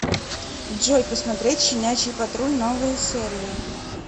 джой посмотреть щенячий патруль новые серии